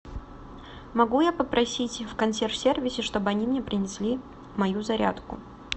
могу я попросить в консьерж сервисе чтобы они мне принесли мою зарядку